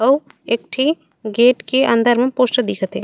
अउ एक ठी गेट के अंदर म पोस्टर दिखत हे।